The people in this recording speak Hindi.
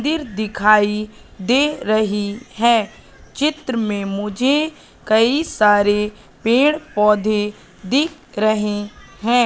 मंदिर दिखाई दे रही है चित्र में मुझे कई सारे पेड़ पौधे दिख रहे हैं।